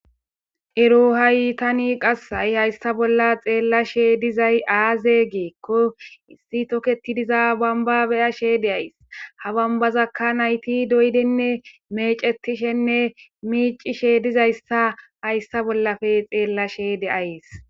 ero haytani qass hai hayssa bolla xeellashe dizay aaze geekko issi toketidiza bamba beyashe de ays ha bambazakka nayti doydenne mecetishenne miicishe dizayssa hayssa bollafe xeellashe de7ays